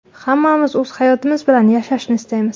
Hammamiz o‘z hayotimiz bilan yashashni istaymiz.